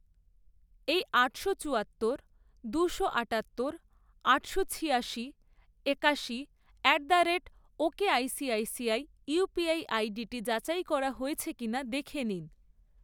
এই আটশো চুয়াত্তর, দুশো আটাত্তর, আটশো ছিয়াশি, একাশি at the rate ok ICICI UPI আইডিটি যাচাই করা হয়েছে কিনা দেখে নিন।